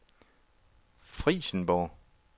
Frijsenborg